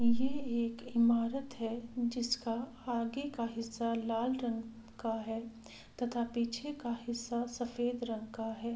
ये एक इमारत है जिसका आगे का हिस्सा लाल रंग का है तथा पीछे का हिस्सा सफेद रंग का है।